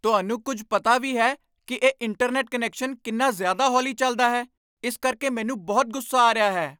ਤੁਹਾਨੂੰ ਕੁੱਝ ਪਤਾ ਵੀ ਹੈ ਕਿ ਇਹ ਇੰਟਰਨੈੱਟ ਕੁਨੈਕਸ਼ਨ ਕਿੰਨਾ ਜ਼ਿਆਦਾ ਹੌਲੀ ਚੱਲਦਾ ਹੈ? ਇਸ ਕਰਕੇ ਮੈਨੂੰ ਬਹੁਤ ਗੁੱਸਾ ਆ ਰਿਹਾ ਹੈ!